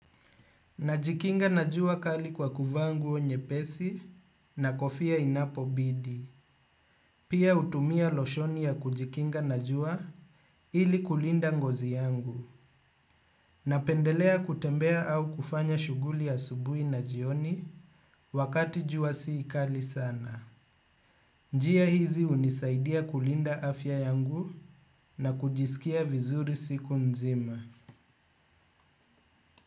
Najikinga na jua kali kwa kuvaa nguo nyepesi na kofia inapo bidi. Pia hutumia losheni ya kujikinga na jua ili kulinda ngozi yangu. Napendelea kutembea au kufanya shughuli ya asubuhi na jioni wakati jua si kali sana. Njia hizi hunisaidia kulinda afya yangu na kujisikia vizuri siku nzima.